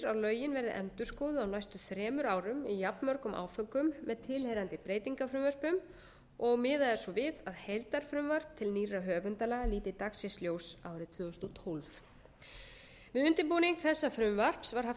að lögin verði endurskoðuð á næstu þremur árum í jafnmörgum áföngum með tilheyrandi breytingarfrumvörpum og miðað er svo við að heildarfrumvarp til nýrra höfundalaga líti dagsins ljós árið tvö þúsund og tólf við undirbúning þessa frumvarps var haft samráð